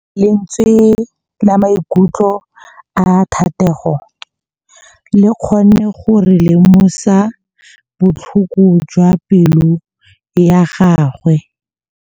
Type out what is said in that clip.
Lentswe la maikutlo a Thategô le kgonne gore re lemosa botlhoko jwa pelô ya gagwe.